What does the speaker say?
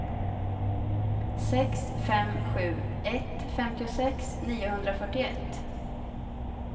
sex fem sju ett femtiosex niohundrafyrtioett